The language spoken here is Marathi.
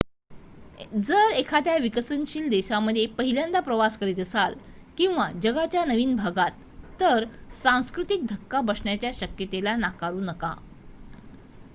जर एखाद्या विकसनशील देशामध्ये पहिल्यान्दः प्रवास करीत असाल किंवा जगाच्या नवीन भागात तर सांस्कृतिक धक्का बसण्याच्या शक्यते ला नाकारू नका